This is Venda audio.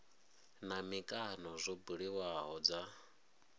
na mikano zwo buliwaho dza